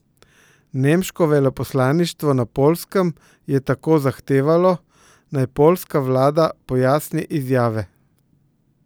Nemško veleposlaništvo na Poljskem je tako zahtevalo, naj poljska vlada pojasni izjave.